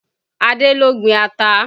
Adé ló gbin ata